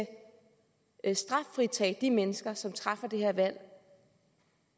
straffritage de mennesker som træffer det her valg